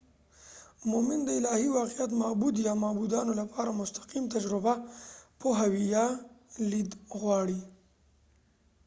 مومن د الهی واقعیت/معبود یا معبودانو لپاره مستقیم تجربه، پوهاوی یا لید غواړي